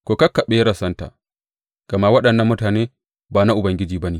Ku kakkaɓe rassanta, gama waɗannan mutane ba na Ubangiji ba ne.